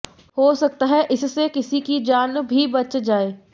हो सकता है इससे किसी की जान भी बच जाए